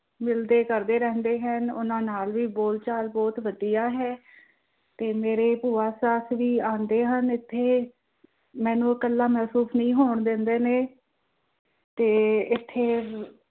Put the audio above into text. ਮਿਲਦੇ ਕਰਦੇ ਰਹਿੰਦੇ ਹਨ ਉਹਨਾਂ ਨਾਲ ਬੋਲਚਾਲ ਵੀ ਬਹੁਤ ਵਧੀਆ ਹੈ, ਤੇ ਮੇਰੇ ਭੂਆ ਸੱਸ ਵੀ ਆਂਦੇ ਹਨ ਏਥੇ ਮੈਂਨੂੰ ਉਹ ਕੱਲਾ ਮਹਿਸੂਸ ਨਹੀਂ ਹੋਣ ਦਿੰਦੇ, ਤੇ ਏਥੇ